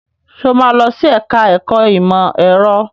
Sọ ma lọ sí ẹ̀ká ẹ̀kọ́ ìmọ̀ ẹ̀rọ?